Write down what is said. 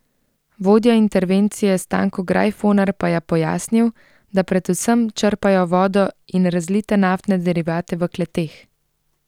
Vodja intervencije Stanko Grajfoner pa je pojasnil, da predvsem črpajo vodo in razlite naftne derivate v kleteh.